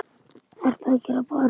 ERTU AÐ GERA, BARN!